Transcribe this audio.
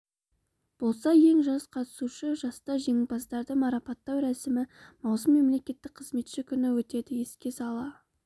болса ең жас қатысушы жаста жеңімпаздарды марапаттау рәсімі маусым мемлекеттік қызметші күні өтеді еске сала